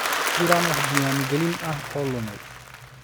Ma jiraan wax diiwaan gelin ah oo lumay?